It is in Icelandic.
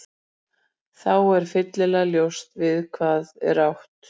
Þá er fyllilega ljóst við hvað er átt.